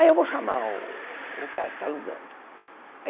Aí eu vou chamar o o cara que está alugando.